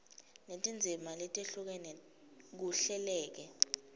netindzima letehlukene kuhleleke